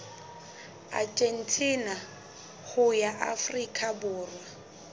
argentina ho ya afrika borwa